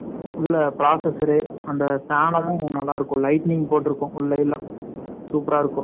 உள்ளே processor , அந்த நல்லா இருக்கும். Lightening போட்டிருக்கும். உள்ளே எல்லாம். So 16 . Super ஆ இருக்கும்